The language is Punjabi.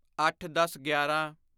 ਅੱਠਦਸਗਿਆਰਾਂ